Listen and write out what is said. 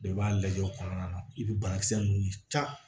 Bɛɛ b'a lajɛ o kɔnɔna na i bɛ banakisɛ ninnu ta